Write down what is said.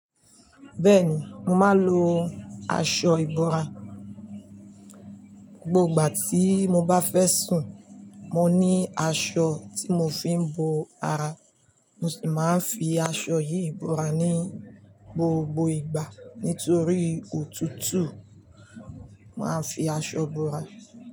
Bẹ́ẹ̀ni, mo màá n lo aṣọ ìbora. Gbogbo ìgbà tí mo bá fẹ́ sùn, mo ní aṣọ tí mo fi ń bo ara, mo sì máa ń fi aṣọ yìí ìbora ní gbogbo ìgbà. Nítorí òtútù, màá fi aṣọ bora.